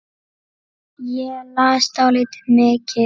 Ég las dálítið mikið.